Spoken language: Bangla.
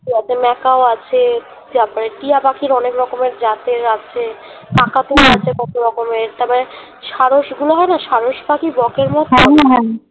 তারপর মেকাও আছে তারপর টিয়া পাখি অনেক রকমের জাতের আছে কাকাতুয়া আছে কতরকমের ষাড়শ গুলো হয় না ষাড়শ পাখি বকের মতো